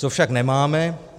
Co však nemáme?